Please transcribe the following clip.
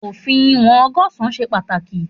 Òfin ìwòn ọgọsan ṣe pàtàkì